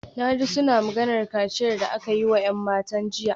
Na ji suna maganar kaciyar da aka yi wa ‘yan matan jiya